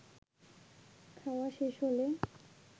খাওয়া শেষ হলে